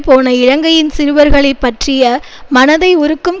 போன இலங்கையின் சிறுவர்களை பற்றிய மனதை உருக்கும்